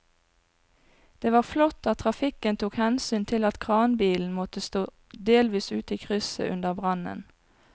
Det var flott at trafikken tok hensyn til at kranbilen måtte stå delvis ute i krysset under brannen.